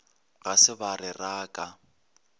ga se ba re raka